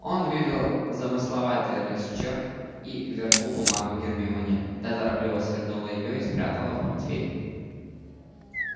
он вывел замысловатый росчерк и вернул бумагу гермионе та торопливо свернула её и спрятала в портфель